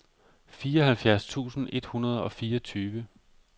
fireoghalvfjerds tusind et hundrede og fireogtyve